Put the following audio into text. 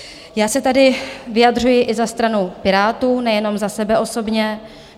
Já se tady vyjadřuji i za stranu Pirátů, nejenom za sebe osobně.